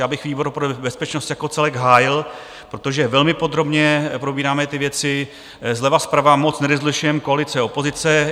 Já bych výbor pro bezpečnost jako celek hájil, protože velmi podrobně probíráme ty věci, zleva, zprava, moc nerozlišujeme koalice - opozice.